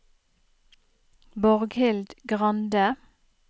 Borghild Grande